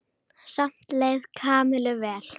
Samt leið Kamillu vel.